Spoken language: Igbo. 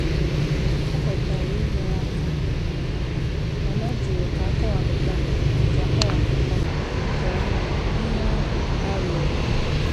O kwetara inyere aka mana ọ jụrụ ka akọwapụta nke akọwapụta nke ọma ihe ahụ arịọrọ.